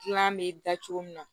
Kilan bɛ da cogo min na